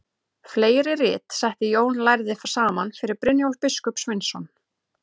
Fleiri rit setti Jón lærði saman fyrir Brynjólf biskup Sveinsson.